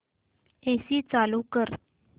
AC चालू कर